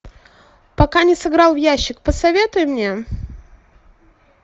пока не сыграл в ящик посоветуй мне